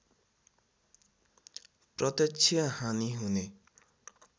प्रत्यक्ष हानि हुने